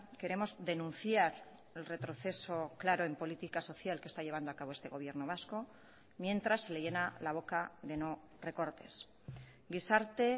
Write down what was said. queremos denunciar el retroceso claro en política social que está llevando a cabo este gobierno vasco mientras se le llena la boca de no recortes gizarte